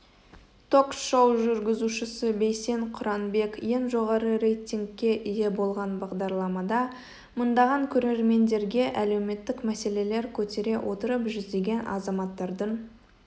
ток-шоу жүргізушісі бейсен құранбек ең жоғары рейтингке ие болған бағдарламада мыңдаған көрермендерге әлеуметтік мәселелер көтере отырып жүздеген азаматтардың